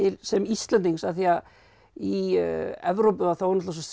sem Íslendings af því að í Evrópu þá er svo